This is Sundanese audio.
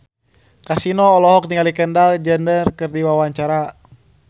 Kasino olohok ningali Kendall Jenner keur diwawancara